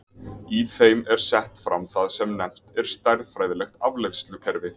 í þeim er sett fram það sem nefnt er stærðfræðilegt afleiðslukerfi